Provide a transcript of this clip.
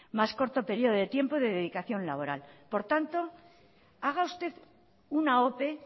más corto el período de tiempo y de dedicación laboral por tanto haga usted una ope